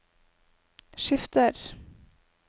skifter